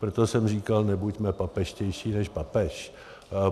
Proto jsem říkal, nebuďme papežštější než papež.